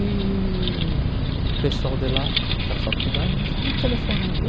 E o pessoal de lá, da faculdade, me ch me telefonou um dia.